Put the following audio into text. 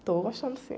Estou gostando, sim.